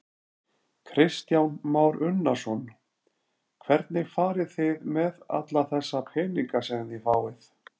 Kristján Már Unnarsson: Hvernig farið þið með alla þessa peninga sem þið fáið?